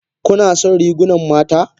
Kuna son rigunan mata?